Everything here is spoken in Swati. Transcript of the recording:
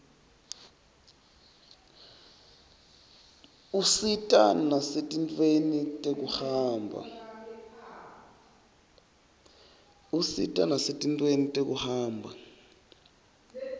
usita nasetintfweni tekuhamba